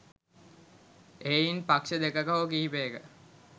එහෙයින් පක්ෂ දෙකක හෝ කිහිපයක